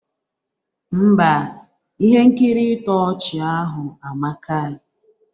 Ḿbà, ihe nkiri ịtọ ọchị ahụ amaka.